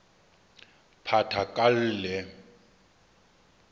phathakalle